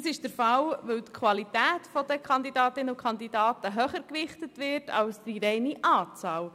Das ist der Fall, da die Qualität der Kandidatinnen und Kandidaten höher gewichtet wird als die reine Anzahl.